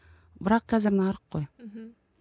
бірақ қазір нарық қой мхм